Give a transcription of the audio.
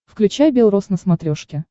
включай белрос на смотрешке